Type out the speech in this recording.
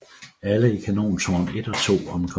Alle i kanontårn 1 og 2 omkom